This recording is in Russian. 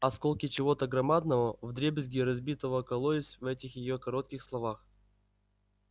осколки чего-то громадного вдребезги разбитого кололись в этих её коротких словах